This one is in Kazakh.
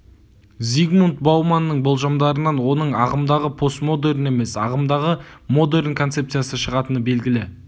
зигмунт бауманның болжамдарынан оның ағымдағы постмодерн емес ағымдағы модерн концепциясы шығатыны белгілі